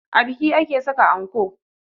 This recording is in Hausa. A biki ake saka anko